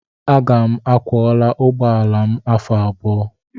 Aga m akwọla ụgbọ ala m afọ abụọ.